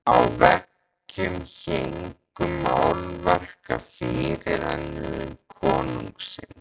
Á veggjum héngu málverk af fyrirrennurum konungsins.